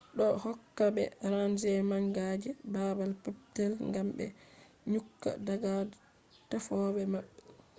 do do hokka be range manga je babal peppetel gam be nyukka daga tefofe mabbe